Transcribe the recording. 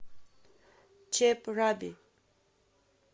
чеб раби